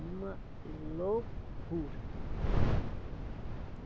Uma loucura.